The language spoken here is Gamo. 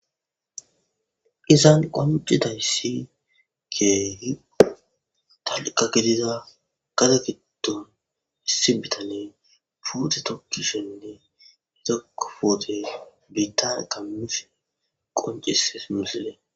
izan qoncitayssi keehi talqa gidiza gada giddon issi bitane puute tokkishenne izakofoote biitana kammise qoncises minsile